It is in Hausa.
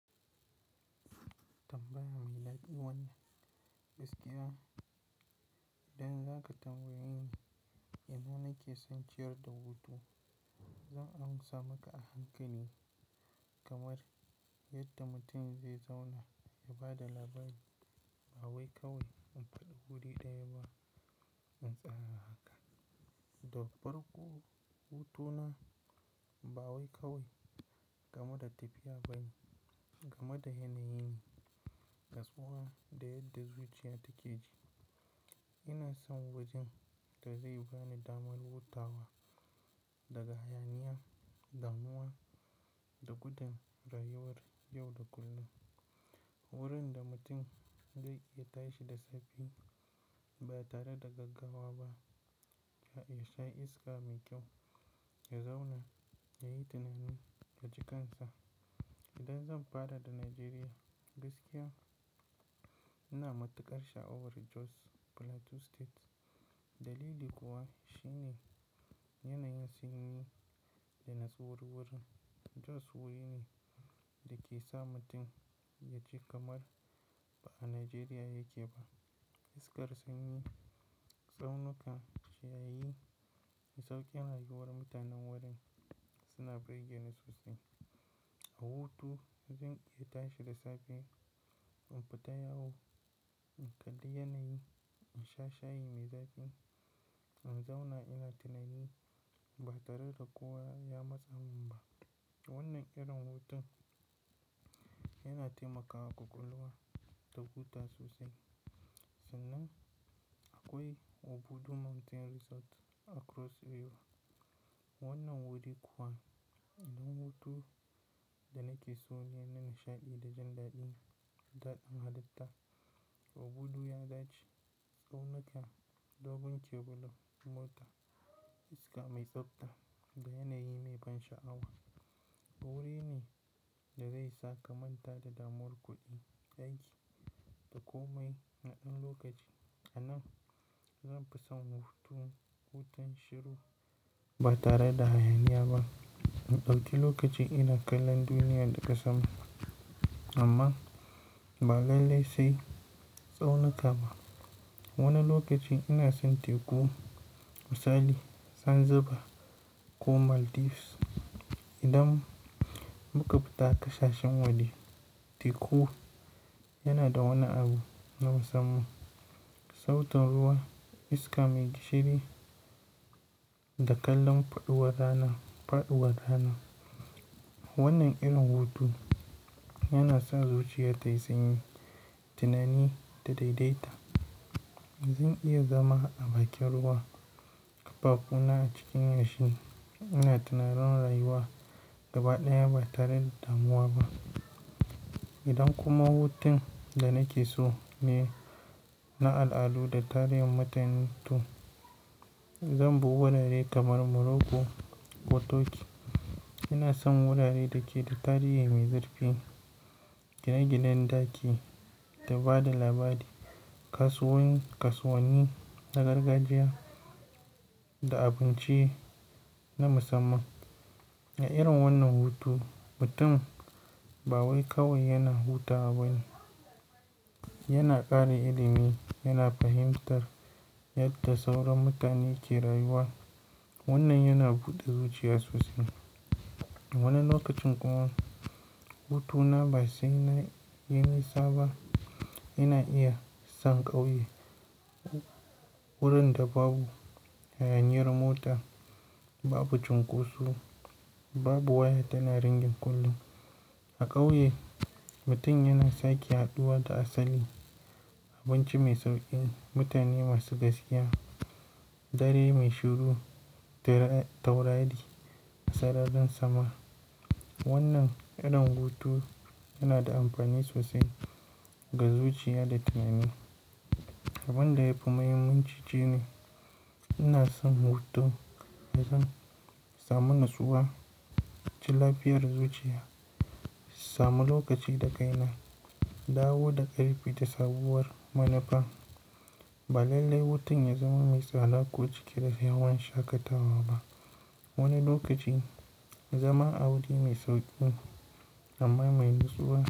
Tambaya mai daɗi wannan, gaskiya. Idan zaka tambaye ni ina nake son ciyar da hutu, zan amsa maka a hankali. Kamar yadda mutum zai zauna ya ba da labari, ba wai kawai in faɗi wuri ɗaya ba in tsaya haka. Da farko, hutuna ba wai kawai game da tafiya ba ne, game da yanayin, natsuwa da yadda zuciya take ji. Ina son wajen da zai bani damar hutawa daga hayaniya, damuwa da gudun rayuwar yau da kullum. Wurin da mutum zai iya tashi da safe ba tare da gaggawa ba, ya sha iska mai kyau, ya zauna ya yi tunani ya ji kansa. Idan zan fara da Najeriya gaskiya ina matukar sha'awar Jos Plateau State. Dalili kuwa shine yanayin sanyi da natsuwar wurin. Jos wuri ne da ke sa mutum ya ji kamar ba a Najeriya yake ba. Iskar sanyi, tsaunuka, shaye, da sauƙin rayuwar mutanen wurin suna burge ni sosai. A hutu zan iya tashi da safe, in fita yawo, in kalli yanayi, in sha shayi mai daɗi, in zauna ina tunani ba tare da kowa ya matsa mun ba. Wannan irin hutun yana taimakawa ƙwaƙwalwa ta huta sosai. Sannan akwai Obudu Mountain Resort a Cross River. Wannan wuri kuwa inda hutu da nake so ne na nishaɗi da jan daɗi da ɗadin hallita Obudu ya dace, tsaunuka, dogon kebula, mota iska mai tsabta da yanayi mai ban sha'awa. Wuri ne da zai sa ka manta da damar kuɗi, aiki da komai na ɗan lokaci. A nan zan fi son hutu, hutun shiru ba tare da hayaniya ba. In ɗauki lokaci ina kallon duniya da kasanmu amma ba lallai sai tsaunuka ba. Wani lokaci ina son Teku, Misali, Zanzibar ko Maldives. Idan muka fita ƙasashen waje Teku yana da wani abu na musamman. Sautin ruwa, iska mai gishiri da kallon faɗuwar rana, faɗuwar rana. Wannan irin hutu yana son zuciya tayi sanyi, tunani ta daidaita. Zan iya zama a bakin ruwa, a bakuna cikin yashi ina tunaron rayuwa gaba ɗaya ba tare da damuwa ba. Idan kuma hutun da nake so ne na al'adu da tarihin mutun tun, zan bi wurare kamar Morocco ko Turkey. Ina son wuraren da ke da tarihi mai zurfi, gine-ginen ɗaki da ba da labari, kasuwanni na gargajiya da abinci na musamman. A irin wannan hutu mutum ba wai kawai yana hutawa ba ne, yana ƙara ilimi, yana fahimtar yadda sauran mutane ke rayuwa. Wannan yana buɗe zuciya sosai. Wani lokacin kuma hutu na ba sai na yi nisa ba. Ina iya san ƙauye. Wurin da babu hayaniyar mota, babu cunkoso, babu waya tana ringin kullum. A ƙauye mutum yana sake haɗuwa da asali, abinci mai sauƙi, mutane masu gaskiya, dare mai shiru da taurari a sararin sama. Wannan irin hutu yana da amfani sosai ga zuciya da tunani. Abin da yafi muhimmanci shine ina son hutu zan samu natsuwa, ji lafiyar zuciya, samu lokaci da kaina, dawo da ƙarfi da sabuwar munafa. Ba lallai hutun ya zama mai tsala ko cike da yawan shakatawa ba. Wani lokaci zama a wuri mai sauƙi amma mai natsuwa.